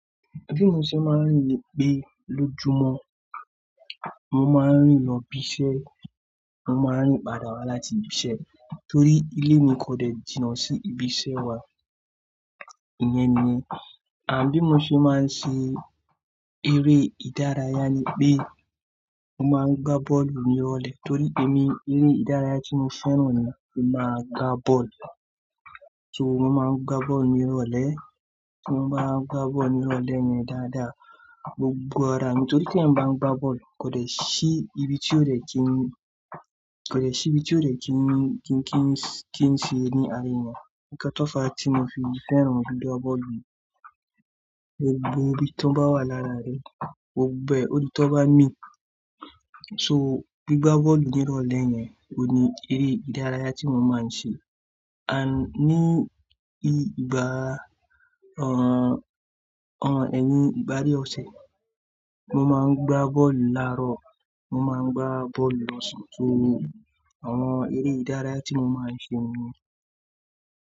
Bi mo se maa n ri pe lojumọ, mo ma n ri lọ ibiṣẹ, mo ma n ri pada wa lati ibiṣẹ, tori ile mi ko dẹ jina si ibi iṣẹ wa, iyẹn ni. Ah bi mo se maa n ṣe ere idaraya ni pe mo ma n gba bọọlu ni irọlẹ, tori pe mi ere idaraya ti mo fẹran ni ki ma ga bọọlu. So mo ma n gba bọọlu nira ọlẹ, mo ma n gba bọọlu nira ọlẹ yẹn dada, gbogbo ara mi, tori te èèyàn bá n gba bọọlu ko dẹ si ibi ti o dẹ kin, ko dẹ si ibi ti o dẹ kin, kin, kin, kin ṣe ni ara ènìyàn Ni katofa ti mo fi fẹran gbogbo bọọlu, gbogbo ibi ti o ba wa lara rẹ, gbogbo ẹ, odi ti o ba ni. So gbigba bọọlu nira ọlẹ yẹn o ni ere idaraya ti mo ma n ṣe. Ah ni igba, ọ, ọ ẹyin igba adie ọsẹ, mo ma n gba bọọlu larọ, mo ma n gba bọọlu lọsan. So awọn ere idaraya ti mo ma n ṣe niyẹn.